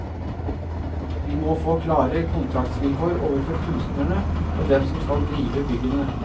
Vi må få klare kontraktsvilkår overfor kunstnerne og dem som skal drive byggene.